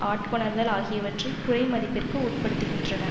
ஆட்கொணர்தல் ஆகியவற்றை குறைமதிப்பிற்கு உட்படுத்துகின்றன